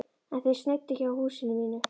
En þeir sneiddu hjá húsinu mínu.